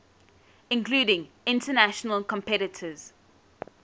including international competitors